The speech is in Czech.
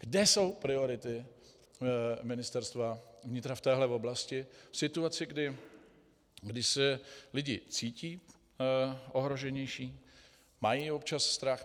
Kde jsou priority Ministerstva vnitra v této oblasti v situaci, kdy se lidé cítí ohroženější, mají občas strach?